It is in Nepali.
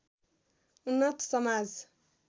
उन्नत समाज